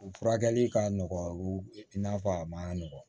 U furakɛli ka nɔgɔn i n'a fɔ a ma nɔgɔn